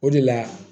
O de la